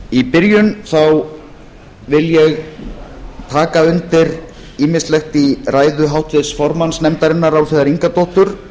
í byrjun vil ég taka undir ýmislegt í ræðu háttvirts formanns nefndarinnar álfheiðar ingadóttur